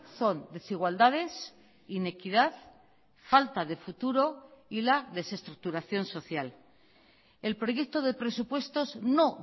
son desigualdades inequidad falta de futuro y la desestructuración social el proyecto de presupuestos no